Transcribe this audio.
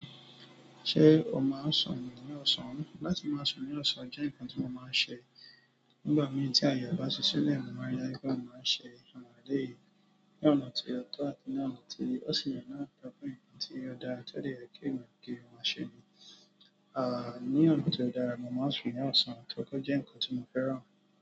Ṣé o máa n ṣe sùn ni ọsán? Láti máa sùn ní ọsán jẹ nkán ti mi máa ń ṣe. Nígbà mìíràn tí àye rẹ bá ṣi sílẹ̀, mo máa ri dájú wípé mo máa ń ṣe àwọn èleyí. Ní ọ̀nà ti o tọ àti ní ọ̀nà ti ó yẹ́ náà nítorí pe nǹkan tí ó dára tó dẹ̀ yẹ kí ènìyàn ki o máa ṣe ni. À ní ọ̀nà tó dára, mo máa ń sùn ní ọ̀sán torí pé ó jẹ́ nǹkan tí mo fẹ́ràn.